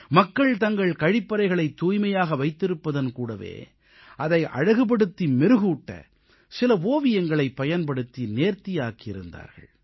மக்கள் தங்கள் கழிப்பறைகளைத் தூய்மையாக வைத்திருப்பதன் கூடவே அதை அழகுபடுத்தி மெருகூட்ட சில ஓவியங்களைப் பயன்படுத்தி நேர்த்தியாக்கி இருந்தார்கள்